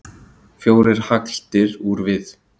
fjórar hagldir úr við